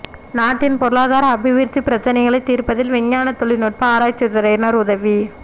நாட்டின் பொருளாதார அபிவிருத்தி பிரச்சினைகளை தீர்ப்பதில் விஞ்ஞான தொழில்நுட்ப ஆராய்ச்சித்துறையின் உதவி